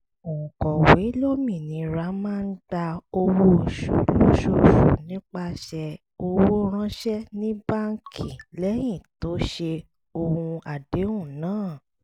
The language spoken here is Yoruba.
òǹkọ̀wé lómìnira máa gba owó oṣù lóṣooṣù nípasẹ̀ owó ránṣẹ́ ní báńkì lẹ́yìn tó ṣe ohun àdéhùn náà